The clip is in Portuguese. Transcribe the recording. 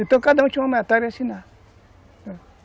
Então, cada um tinha uma matéria a assinar.